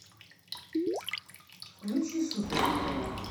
включи супер на тв